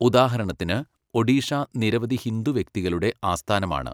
ഉദാഹരണത്തിന്, ഒഡീഷ നിരവധി ഹിന്ദു വ്യക്തികളുടെ ആസ്ഥാനമാണ്.